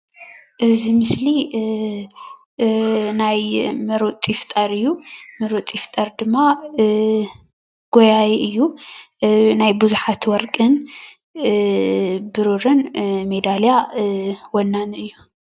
እዚ ምስሊ ናይ ምሩፅ ይፍጠር እዩ ምሩፅ ይፍጠር ድማ ጎያይ እዩ ናይ ብዙሓት ወርቅን ብሩርን ሜዳልያ ወናኒ እዩ።